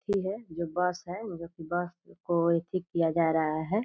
एथि है जो बस है जो कि बस को एथि किया जा रहा है ।